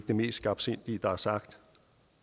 det mest skarpsindige der er sagt